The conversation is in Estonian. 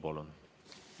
Palun!